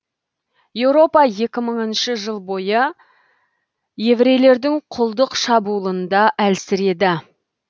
еуропа екі мыңыншы жыл бойы еврейлердің құлдық шабуылында әлсіреді